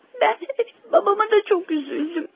Bəli, babama da çox üzüldüm.